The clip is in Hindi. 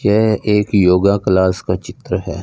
यह एक योगा क्लास का चित्र है।